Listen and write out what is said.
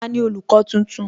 Tani olùkọ́ tuntun?